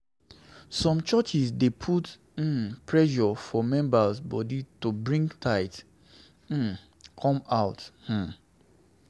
Some churches dey put um pressure for members body to bring tithe um come out um